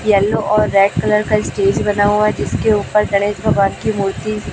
yellow और red colour का stage बना हुआ है जिसके ऊपर गणेश भगवान की मूर्ति--